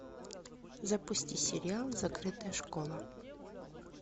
запусти сериал закрытая школа